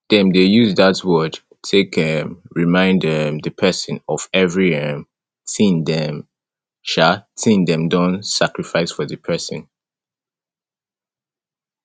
dem de use that word take um remind um di persin of every um thing dem um thing dem don sacrifice for di persin